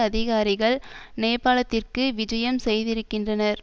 அதிகாரிகள் நேபாளத்திற்கு விஜயம் செய்திருக்கின்றனர்